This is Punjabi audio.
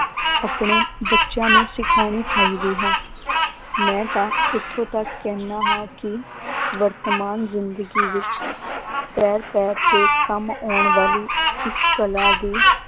ਆਪਣੇ ਬੱਚਿਆਂ ਨੂੰ ਸਿਖਾਉਣੀ ਚਾਹੀਦੀ ਹੈ ਮੈਂ ਤਾਂ ਇੱਥੋਂ ਤੱਕ ਕਹਿੰਦਾ ਹਾਂ ਕਿ ਵਰਤਮਾਨ ਜ਼ਿੰਦਗੀ ਵਿੱਚ ਪੈਰ ਪੈਰ ਤੇ ਕੰਮ ਆਉਣ ਵਾਲੀ ਇਸ ਕਲਾ ਦੀ